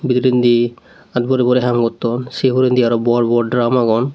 bidirendi aat borey borey haam gotton se huredi aro bor bor drum agon.